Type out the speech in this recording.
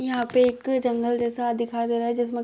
यहाँ पे एक जंगल जैसा दिखाई दे रहा है। जिसमे --